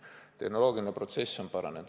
Tehnoloogiline protsess on paranenud.